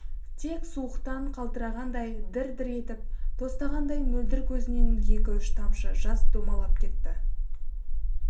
тек суықтан қалтырағандай дір-дір етіп тостағандай мөлдір көзінен екі-үш тамшы жас домалап кетті